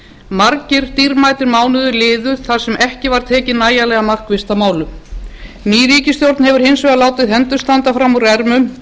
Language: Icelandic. margir dýrmætir mánuðir liðu þar sem ekki var tekið nægilega markvisst á málum ný ríkisstjórn hefur hins vegar látið hendur standa fram úr ermum og